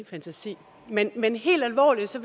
fantasi men men helt alvorligt